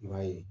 I b'a ye